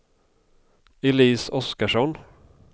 Elise Oskarsson